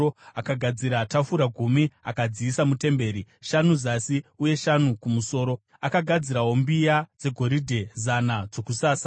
Akagadzira tafura gumi akadziisa mutemberi, shanu zasi uye shanu kumusoro. Akagadzirawo mbiya dzegoridhe zana dzokusasa.